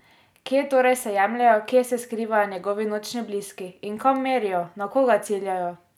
Kje torej se jemljejo, kje se skrivajo njegovi nočni bliski, in kam merijo, na koga ciljajo?